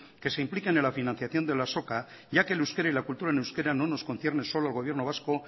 que se implique a la financiación de la azoka ya que el euskera y la cultura en euskera no nos concierne solo al gobierno vasco